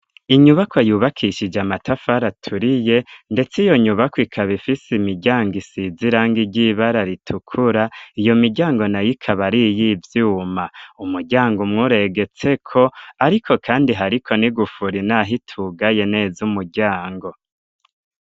Inyubakwa yubakishije amatafara aturiye. Ndetse iyo nyubakwa ikaba ifise imiryango isize irangi ry'ibara ritukura. Iyo miryango nayo ikaba ariyivyuma. Umuryango umwe uregetseko, ariko kandi hariko n' igufuri naho itugaye neza umuryango.